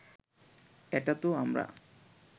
এটা তো আমরা